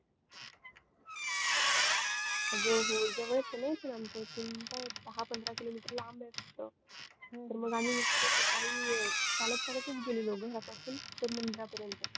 अगं हो जवळच आहे न आमच्या इथून ते दहा पंधरा kelometer लांब आहे फक्त तर मग आम्ही सकाळी चालत चालत गेलो. घरापासून मंदिरापर्यंत